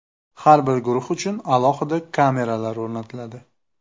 Har bir guruh uchun alohida kameralar o‘rnatiladi.